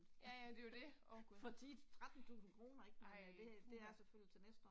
Ja ja det er jo det, åh gud. Ej, puha